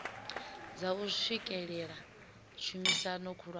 dza u swikelela tshumisano khulwane